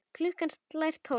Klukkan slær tólf.